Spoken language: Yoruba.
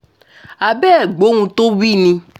a bẹ̀ ẹ́ gbóhun tó wí ni